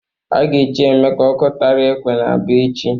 A ga-echi Emeka Ọkụtarakwe n'Aba echi.